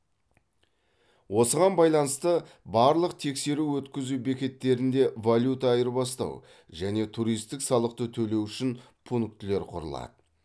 осыған байланысты барлық тексеру өткізу бекеттерінде валюта айырбастау және туристік салықты төлеу үшін пунктілер құрылады